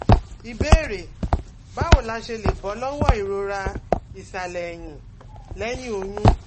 Ìbéèrè: Báwo la ṣe lè bọ́ lọ́wọ́ ìrora ìsàlẹ̀ ẹ̀yìn lẹ́yìn oyún?